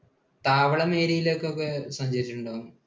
താവളം area യിൽ ഒക്കെ സഞ്ചരിച്ചിട്ടുണ്ടോ?